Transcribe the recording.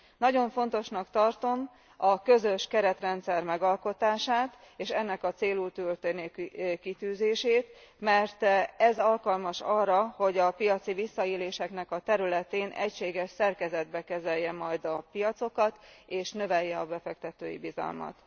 Nagyon fontosnak tartom a közös keretrendszer megalkotását, és ennek a célul történő kitűzését, mert ez alkalmas arra, hogy a piaci visszaélések területén egységes szerkezetben kezelje majd a piacokat és növelje a befektetői bizalmat.